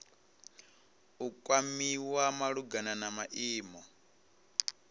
u kwamiwa malugana na maimo